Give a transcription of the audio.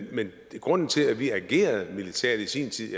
grunden til at vi agerede militært i sin tid i